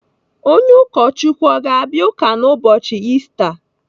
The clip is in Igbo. Onye ụkọchukwu ọ ga-abịa ụka n'ụbọchi Ista?